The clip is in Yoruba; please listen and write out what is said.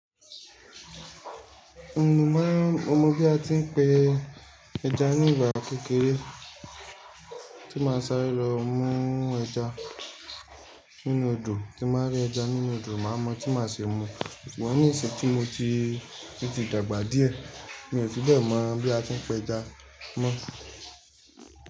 Mo mọ bí a ti ń pe ẹja ní ìgbà kékeré tí màá sáré lọ mú ẹja nínú odò, tí màá rí ẹja nínú odò màá mọ̀ tí màá ṣe mu. Ṣùgbọ́n ni ìṣẹ́ tí mo ti rí ti dàgbà díẹ̀ mi ò fi bẹ́ẹ̀ mọ bí a ti ń pá ẹja mọ́